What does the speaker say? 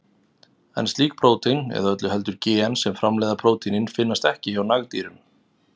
En slík prótín, eða öllu heldur gen sem framleiða prótínin, finnast ekki hjá nagdýrum.